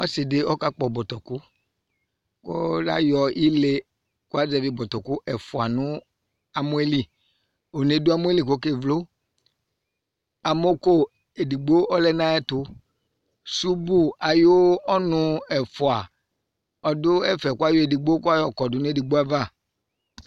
Ɔsɩ dɩ ɔkakpɔ bɔtɔkʋ kʋ layɔ ile kʋ azɛvɩ bɔtɔkʋ ɛfʋa nʋ amɔ yɛ li One yɛ dʋ amɔ yɛ li kʋ ɔkevlo Amɔko edigbo ɔlɛ nʋ ayɛtʋ Subu ayʋ ɔnʋ ɛfʋa ɔdʋ ɛfɛ kʋ ayɔ edigbo kʋ ayɔkɔdʋ nʋ edigbo ava